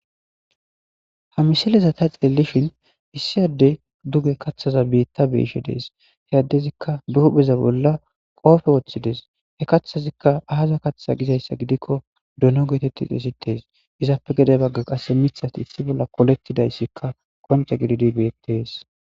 Ha misileza tayi xeellishin issi addey duge kaththaza biitta be7ishe de7ees. He addezikka be hupheza bolla qoope woththides. He kaththazi aaza kaththe gizaysa vidikko dono geetettidi xesettees. He kaththazappe gede bagga qasse miththati qolettidayssi qoncce gididi bettees.